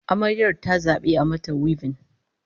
Amaryar ta zabi a yi mata wibin